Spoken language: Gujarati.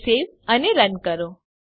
તેને સવે અને રન કરો